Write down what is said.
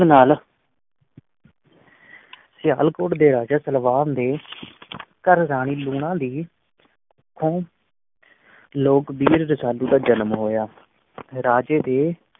ਨਾਲ ਸਿਆਲਕੋਟ ਦੇ ਰਾਜਾ ਸਲਵਾਨ ਦੇ ਘਰ ਰਾਣੀ ਲੂਣਾ ਦੀ ਕੁੱਖੋਂ ਲੋਕ-ਬੀਰ ਰਸਾਲੂ ਦਾ ਜਨਮ ਹੋਇਆ ਰਾਜੇ ਦੇ